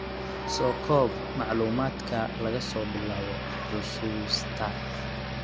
Soo koob macluumaadka laga soo bilaabo xusuusta.